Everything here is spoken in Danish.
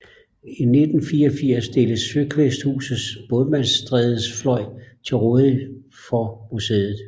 I 1984 stilles Søkvæsthusets Bådsmandstrædefløj til rådighed for museet